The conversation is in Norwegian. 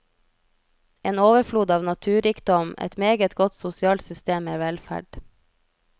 En overflod av naturrikdom, et meget godt sosialt system med velferd.